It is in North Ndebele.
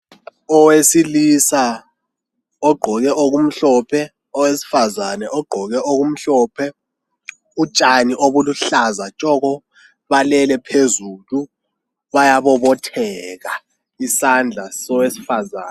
Owesilisa ogqoke okumhlophe, owesifazana ogqoke okumhlophe utshani obuluhlaza tshoko balele phezulu bayabobotheka isandla sowesifazana.